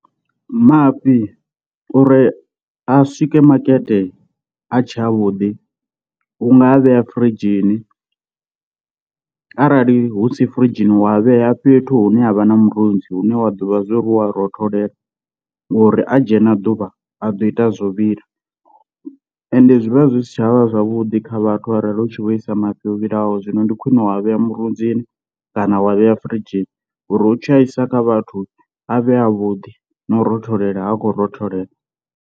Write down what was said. Mafhi uri a swike makete a tshe a vhuḓi u ngaa vhea firidzhini arali hu si firidzhini wa vhea fhethu hune havha na murunzi, hune wa ḓivha zwo ri hu a rotholela ngori a dzhena ḓuvha a ḓo ita zwo vhila, and zwi vha zwi si tshavha zwavhuḓi kha vhathu arali u tshi vho isa mafhi o vhilaho. Zwino ndi khwine wa vhea murunzini kana wa vhea firidzhini uri u tshi a isa kha vhathu a vhe avhuḓi na u rotholela ha khou rotholela.